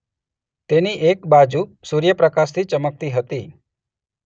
તેની એક બાજુ સૂર્યપ્રકાશથી ચમકતી હતી.